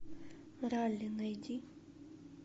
ралли найди